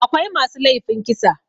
akwai masu laifin kisa